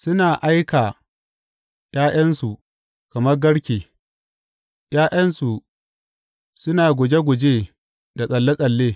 Suna aika ’ya’yansu kamar garke; ’ya’yansu suna guje guje da tsalle tsalle.